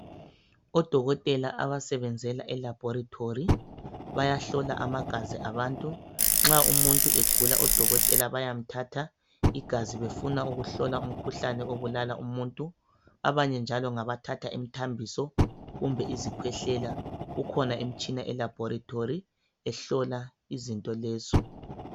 Odokotela abasebenzela e laboratory bayahlola amagazi abantu nxa umuntu egula odokotela bayamthatha igazi befuna ukuhlola umkhuhlane obulala umuntu abanye njalo ngabathatha imthambiso kumbe izikhwehlela kukhona imtshina elaboratory ehlola izinto lezo